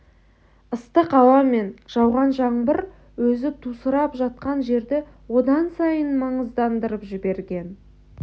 ыстық ауа мен жауған жаңбыр өзі тусырап жатқан жерді одан сайын маңыздандырып жіберген